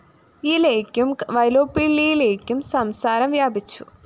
യിലേയ്ക്കും വൈലോപ്പിള്ളിയിലേയ്ക്കും സംസാരം വ്യാപിച്ചു